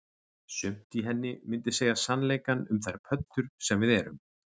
Sumt í henni myndi segja sannleikann um þær pöddur sem við erum